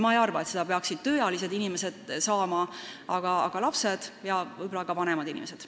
Ma ei arva, et seda peaksid tööealised inimesed saama, aga seda võiksid saada lapsed ja võib-olla ka vanemad inimesed.